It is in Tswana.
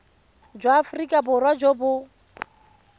jwa aforika borwa jo bo